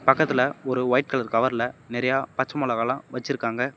பக்கத்துல ஒரு white colour கவர்ல நறையா பச்ச மொளகால வெச்சிருக்காங்க.